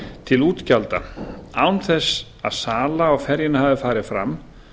til útgjalda án þess að sala á ferjunni hafi farið fram